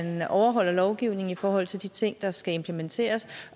at overholde lovgivningen i forhold til de ting der skal implementeres